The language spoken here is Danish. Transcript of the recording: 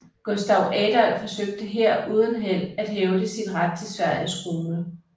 Gustav Adolf forsøgte her uden held at hævde sin ret til Sveriges krone